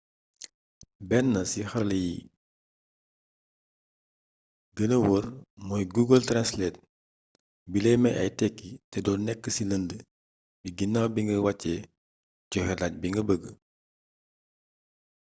benn ci xarala yi bi gëna woor mooy google translate bilay may ay tékki te doo nekk ci lënd gi ginnaw bi nga wàccee joxe làkk bi nga bëgg